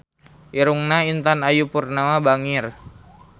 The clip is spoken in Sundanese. Irungna Intan Ayu Purnama bangir